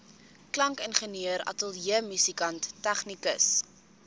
klankingenieur ateljeemusikant tegnikus